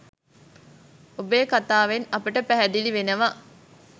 ඔබේ කතාවෙන් අපට පැහැදිලි වෙනවා?